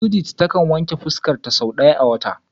Judith ta kan wanke fuska ta sau daya a wata.